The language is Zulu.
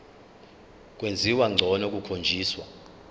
kwenziwa ngcono kukhonjiswa